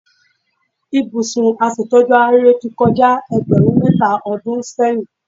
Ibùsùn aṣètójú ara ríro ti kọjá ẹgbẹ̀rún mẹ́ta ọdún sẹ́yìn.